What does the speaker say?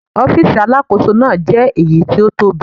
Ọ́fíìsì Alákóso náà jẹ́ èyí tó tóbi.